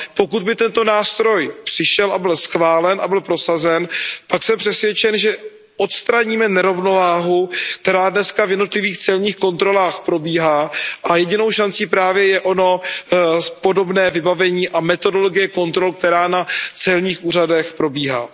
Pokud by tento nástroj přišel a byl schválen a byl prosazen, pak jsem přesvědčen, že odstraníme nerovnováhu, která dnes v jednotlivých celních kontrolách probíhá, a jedinou šancí právě je ono podobné vybavení a metodologie kontrol, které na celních úřadech probíhají.